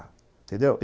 Entendeu?